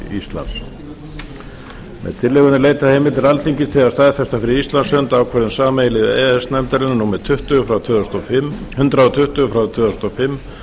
íslands með tillögunni er leitað heimildar alþingis til að staðfesta fyrir íslands hönd ákvörðun sameiginlegu e e s nefndarinnar númer hundrað tuttugu tvö þúsund og fimm